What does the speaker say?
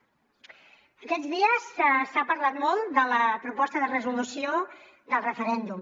aquests dies s’ha parlat molt de la proposta de resolució del referèndum